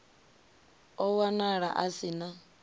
o wanala a si na